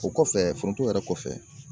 O kɔfɛ foronto yɛrɛ kɔfɛ.